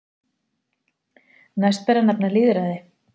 Næst ber að nefna lýðræði.